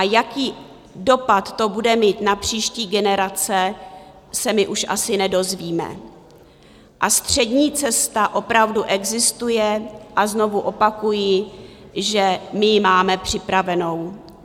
A jaký dopad to bude mít na příští generace, se my už asi nedozvíme, a střední cesta opravdu existuje a znovu opakuji, že my ji máme připravenou.